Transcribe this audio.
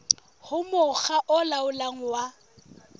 ho mokga o laolang wa